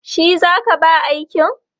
Shi za ka ba aikin?